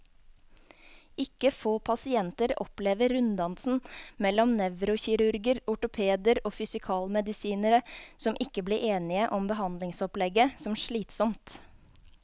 Ikke få pasienter opplever runddansen mellom nevrokirurger, ortopeder og fysikalmedisinere, som ikke blir enige om behandlingsopplegget, som slitsom.